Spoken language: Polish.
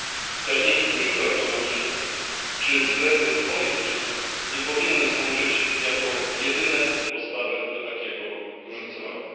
Wskaźniki mikroekonomiczne czy względy polityczne nie powinny służyć jako jedyne podstawy do takiego różnicowania.